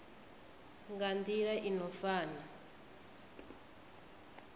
nga nila i no fana